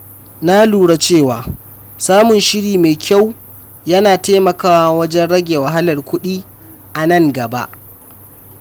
Na lura cewa samun shiri mai kyau yana taimakawa wajen rage wahalar kuɗi a nan gaba.